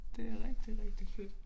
Det rigtig rigtig fedt